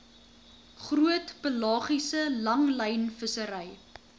groot pelagiese langlynvissery